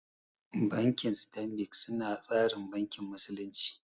Banki stanbik su na tsarin bankin musulunci